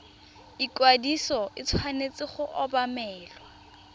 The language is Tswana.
ikwadiso e tshwanetse go obamelwa